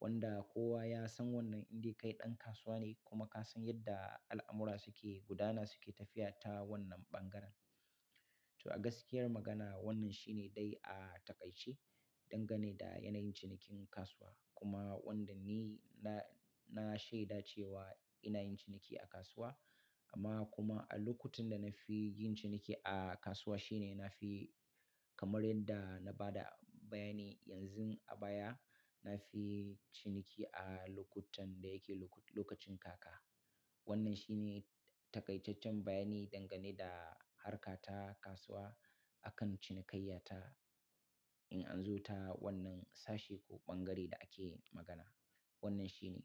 wanda kowa ya san wannan in dai kai ɗan kasuwa ne kuma ka san yadda al'amura suke gudana suke tafiya ta wannan ɓangaren. To a gaskiyar magana wannan shi ne dai a taƙaice dangane da yanayin cinikin kasuwa. Kuma wanda ni na, na shaida cewa ina yin ciniki a kasuwa amma kuma a lokutan da na fi yin ciniki a kasuwa shi ne na fi kamar yadda na ba da bayani yanzun a baya, na fi ciniki a lokutan da yake lokacin kaka. Wannan shi ne taƙaitaccen bayani dangane da harka ta kasuwa akan cinikayyata in an zo ta wannan sashe ko ɓangare da ake magana. Wannan shi ne.